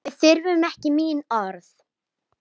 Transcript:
Við þurfum ekki mín orð.